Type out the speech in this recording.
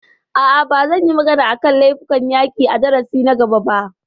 A'a, ba zan yi magana a kan laifukan yaƙi a darasin na gaba ba